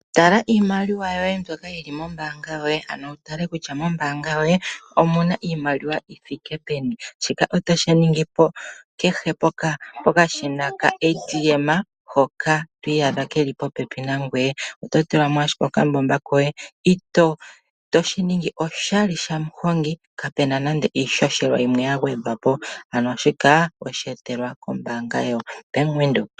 Tala iimaliwa yoye myoka yili mombaanga yoye ano wutale kutya mombaanga yoye omuna iimaliwa yithike peni, shika otashi ningi kehe pokashina ka ATM hoka twiiyadha keli popepi nangoye. Oto tulamo ashike okambomba koye toshiningi oshali shamuhongi kapuna nande iishoshela yimwe yagwedhwapo, ano shika osheetelwa kombaanga yaBank Windhoek.